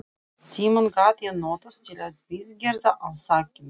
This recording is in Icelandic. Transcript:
Tímann gat ég notað til viðgerða á þakinu.